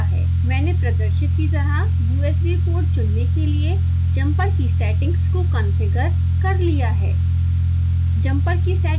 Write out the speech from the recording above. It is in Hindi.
मैंने प्रदर्शित की तरह usb पोर्ट चुनने के लिए जम्पर की सेटिंग्स को कॉन्फ़िगर कर लिया है